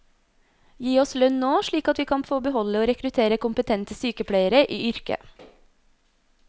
Gi oss lønn nå, slik at vi kan få beholde og rekruttere kompetente sykepleiere i yrket.